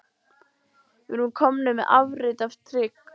Við erum komnir með afrit af trygg